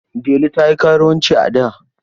Delu ta yi karuwanci a da.